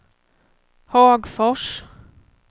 Hagfors